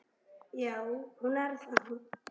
Já, hún er það.